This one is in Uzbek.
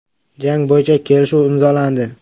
“Jang bo‘yicha kelishuv imzolandi.